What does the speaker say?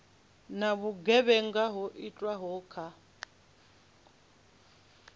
na vhugevhenga ho itwaho kha